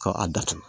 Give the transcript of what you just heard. Ka a datugu